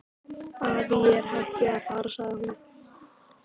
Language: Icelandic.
Afi, ég er hætt við að fara sagði hún.